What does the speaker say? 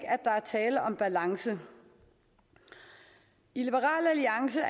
er tale om balance i liberal alliance